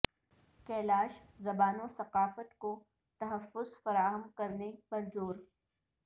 کیلاش زبان و ثقافت کو تحفظ فراہم کرنے پر زور